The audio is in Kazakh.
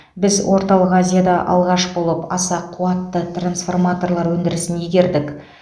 біз орталық азияда алғаш болып аса қуатты трансформаторлар өндірісін игердік